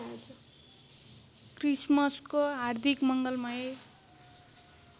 क्रिसमसको हार्दिक मङ्गलमय